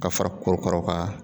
Ka fara korokaraw ka